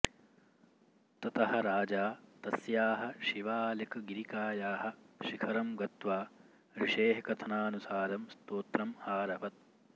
ततः राजा तस्याः शिवालिक गिरिकायाः शिखरं गत्वा ऋषेः कथनानानुसारं स्तोत्रम् आरभत